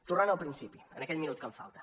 tornant al principi en aquest minut que em falta